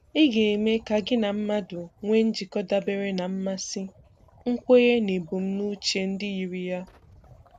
Ị ga-eme ka gị na mmadụ nwee njikọ dabere na mmasị, nkwenye na ebumnuche ndị yiri ya.